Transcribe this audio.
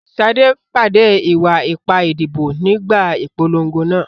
Sade pàdé ìwà ipá ìdìbò nígbà ìpolongo náà.